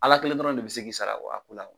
Ala kelen dɔrɔn de bɛ se k'i sara a ko la.